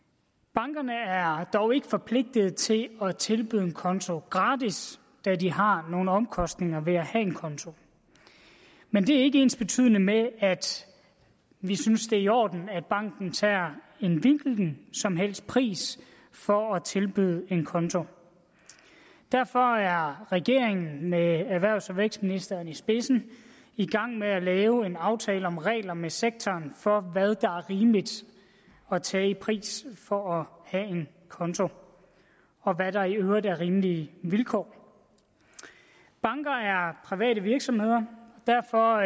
bankerne er dog ikke forpligtet til at tilbyde en konto gratis da de har nogle omkostninger ved at have en konto men det er ikke ensbetydende med at vi synes det er i orden at banken tager en hvilken som helst pris for at tilbyde en konto derfor er regeringen med erhvervs og vækstministeren i spidsen i gang med at lave en aftale om regler med sektoren for hvad der er rimeligt at tage i pris for at have en konto og hvad der i øvrigt er rimelige vilkår banker er private virksomheder og derfor